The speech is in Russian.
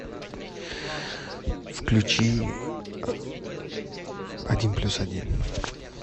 включи один плюс один